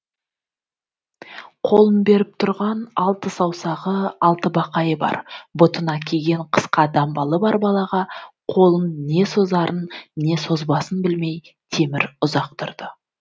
қолын беріп тұрған алты саусағы алты бақайы бар бұтына киген қысқа дамбалы бар балаға қолын не созарын не созбасын білмей темір ұзақ тұрды